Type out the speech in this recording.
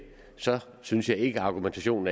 synes jeg ikke argumentationen